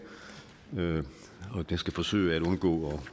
og jeg skal forsøge at undgå